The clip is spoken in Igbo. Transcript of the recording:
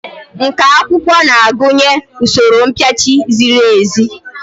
Nkà akwụkwọ na-agụnye usoro mpịachi ziri ezi.